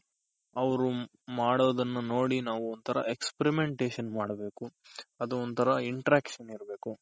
ಅವ್ರು ಮಾಡೋದನ್ನ ನೋಡಿ ನಾವೊಂತರ Experiment ಮಾಡ್ಬೇಕು ಅದು ಒಂತರ Interaction ಇರ್ಬೇಕು.